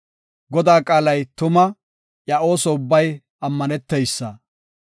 Godaa qaalay tuma; iya ooso ubbay ammaneteysa.